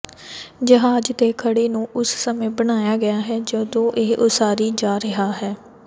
ਜਹਾਜ਼ ਦੇ ਖਰੜੇ ਨੂੰ ਉਸ ਸਮੇਂ ਬਣਾਇਆ ਗਿਆ ਹੈ ਜਦੋਂ ਇਹ ਉਸਾਰੀ ਜਾ ਰਿਹਾ ਹੈ